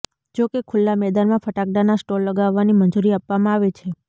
જોકે ખુલ્લા મેદાનમાં ફટાકડાના સ્ટોલ લગાવવાની મંજૂરી આપવામાં આવે છે